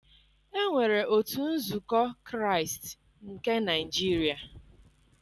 Enwere otu nzukọ Kraịst nke Naịjiria.